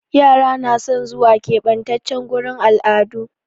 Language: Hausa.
Yara na son zuwa ƙebatace gurin al'adu